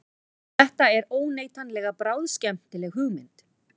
Þetta er óneitanlega bráðskemmtileg hugmynd